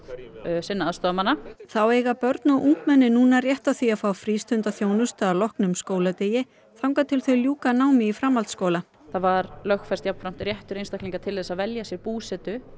sinna aðstoðarmanna þá eiga börn og ungmenni núna rétt á því að fá frístundaþjónustu að loknum skóladegi þangað til þau ljúka námi í framhaldsskóla það var lögfest jafnframt réttur einstaklinga til að velja sér búsetu